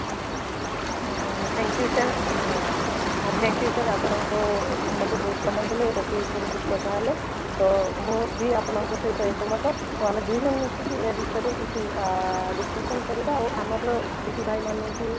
ଅଂ thank you sir ଅଂ thank you sir ଆପଣଙ୍କୁ ମୋତେ ବହୁତ ସମୟ ଦେଲେ ଏଇ topic ରୁ ବହୁତ କଥା ହେଲେ ତ ମୁଁ ବି ଆପଣଙ୍କ ସହିତ ଏକ ମତ ତ ଆମେ ଦୁଇ ଜଣ ମିଶି ଏ ବିଷୟରେ କିଛି ଆଃ discussion କରିବା ଆଉ ଆମର ଦିଦି ଭାଇ ମାନଙ୍କୁ